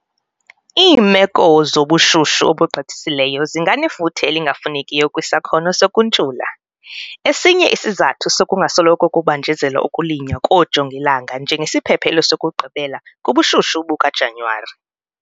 Iimeko zobushushu obugqithisileyo zinganefuthe elingafunekiyo kwisakhono sokuntshula - esinye isizathu sokungasoloko kubanjezelwa ukulinywa koojongilanga njengesiphephelo sokugqibela kubushushu bukaJanyuwari.